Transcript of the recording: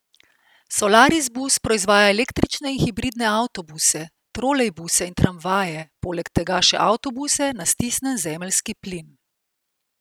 Solaris bus proizvaja električne in hibridne avtobuse, trolejbuse in tramvaje, poleg tega še avtobuse na stisnjen zemeljski plin.